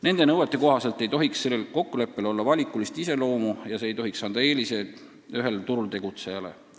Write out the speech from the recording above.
Nende nõuete kohaselt ei tohiks sellel kokkuleppel olla valikulist iseloomu ja see ei tohiks anda eeliseid ühele turul tegutsejale.